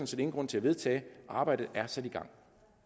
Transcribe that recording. set ingen grund til at vedtage arbejdet er sat i gang